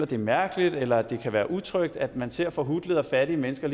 det er mærkeligt eller at det kan være utrygt at man ser forhutlede og fattige mennesker